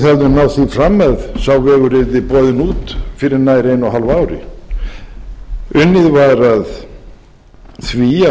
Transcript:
höfum náð því fram að sá vegur yrði boðin út fyrir nær einu og hálfu ári unnið var að því